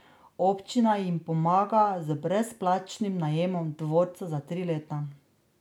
Občina jim pomaga z brezplačnim najemom dvorca za tri leta.